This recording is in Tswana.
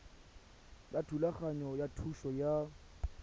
ya thulaganyo ya thuso ya